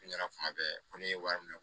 Ne ɲɛna kuma bɛɛ ko ne ye wari minɛ